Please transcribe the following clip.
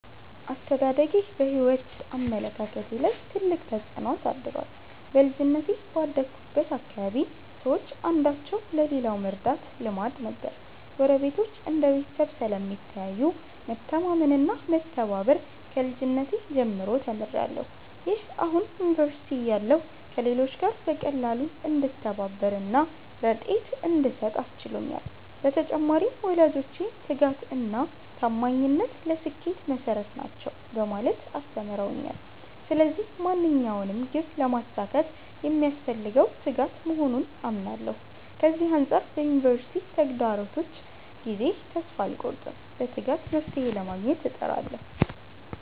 አስተዳደጌ በሕይወት አመለካከቴ ላይ ትልቅ ተጽዕኖ አሳድሯል። በልጅነቴ ባደግሁበት አካባቢ ሰዎች አንዳቸው ለሌላው መርዳት ልማድ ነበር። ጎረቤቶች እንደ ቤተሰብ ስለሚታዩ፣ መተማመን እና መተባበር ከልጅነቴ ጀምሮ ተምሬያለሁ። ይህ አሁን ዩኒቨርሲቲ እያለሁ ከሌሎች ጋር በቀላሉ እንድተባበር እና ርድኤት እንድሰጥ አስችሎኛል። በተጨማሪም፣ ወላጆቼ 'ትጋት እና ታማኝነት ለስኬት መሠረት ናቸው' በማለት አስተምረውኛል። ስለዚህ ማንኛውንም ግብ ለማሳካት የሚያስፈልገው ትጋት መሆኑን አምናለሁ። ከዚህ አንጻር በዩኒቨርሲቲ ተግዳሮቶች ጊዜ ተስፋ አልቆርጥም፤ በትጋት መፍትሔ ለማግኘት እጥራለሁ።